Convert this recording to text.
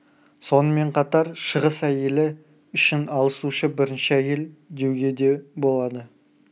сонымен қатар шығыс әйелі үшін алысушы бірінші әйел деуге де болады